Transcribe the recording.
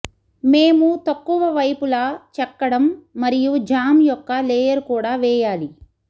మేము తక్కువ వైపులా చెక్కడం మరియు జామ్ యొక్క లేయర్ కూడా వేయాలి